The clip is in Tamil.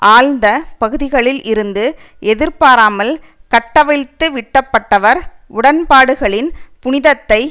ஆழ்ந்த பகுதிகளில் இருந்து எதிர்பாராமல் கட்டவிழ்த்துவிட்டப்பட்டவர் உடன் பாடுகளின் புனிதத்தை